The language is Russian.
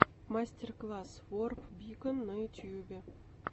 мастер класс ворп бикон на ютубе